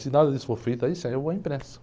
Se nada disso for feito aí, sim, aí eu vou à imprensa.